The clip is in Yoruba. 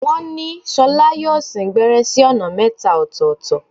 Wọ́n ni Ṣolá yóò sín gbẹ́rẹ́ sí ọ̀nà mẹ́ta ọ̀tọ̀ọ̀tọ̀.